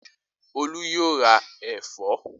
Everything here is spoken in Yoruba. Olú yóò ra ẹ̀fọ́